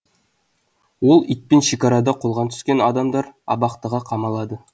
ол итпен шекарада қолға түскен адамдар абақтыға қамалады